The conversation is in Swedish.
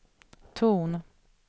ton